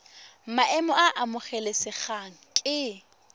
maemo a a amogelesegang ke